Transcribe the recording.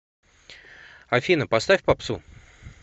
афина поставь попсу